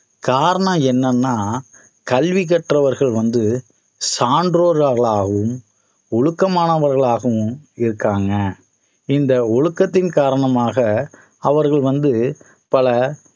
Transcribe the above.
காரணம் என்னன்னா கல்வி கற்றவர்கள் வந்து சான்றோர்களாகவும் ஒழுக்கமானவர்களாகவும் இருக்காங்க இந்த ஒழுக்கத்தின் காரணமாக அவர்கள் வந்து பல